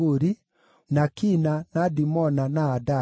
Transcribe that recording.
na Kina, na Dimona, na Adada,